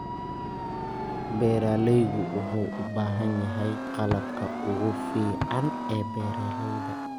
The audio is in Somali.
Beeralaygu wuxuu u baahan yahay qalabka ugu fiican ee beeralayda.